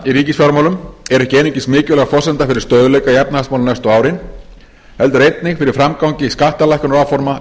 ríkisfjármálum er ekki einungis mikilvæg forsenda fyrir stöðugleika í efnahagsmálum næstu árin heldur einnig fyrir framgang skattalækkunaráforma